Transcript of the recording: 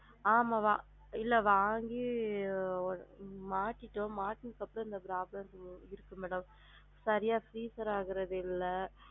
ஆமா mam இல்ல வாங்கி ஒரு மாட்டிட்டோம் மாட்டுனதுக்கு அப்பறம் இந்த problem இருந்துச்சு madam சரியா freezer ஆகுறது இல்ல